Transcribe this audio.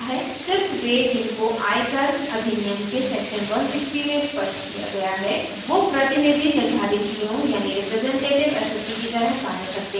सिर्फ वे जिनको आयकर अधनियम के section 160 में स्पष्ट किया गया है वो प्रतिनिधि निर्धारितियों representative assessees की तरह कार्य करते है